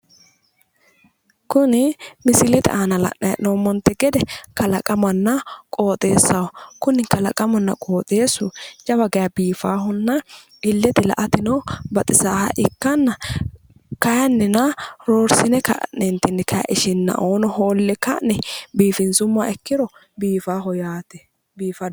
Kuni misilete aana la'nanni hee'noommonte gede kalaqamanna qooxeessaho. Kuni kalaqamunna qooxeessu jawa geya biifaahonna illete la'ateno baxisaaha ikkanna kayinnina roorsine ishinnaoo hoolle ka'ne biifinsummoro biifaaho yaate.